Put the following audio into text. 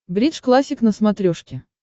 бридж классик на смотрешке